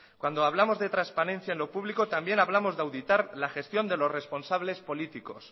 cuando hablamos de trasparencia en lo público también hablamos de auditar la gestión de los responsables políticos